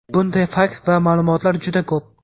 Bunday fakt va ma’lumotlar juda ko‘p.